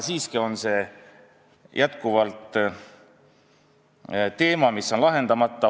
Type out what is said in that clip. Siiski on see teema, mis on lahendamata.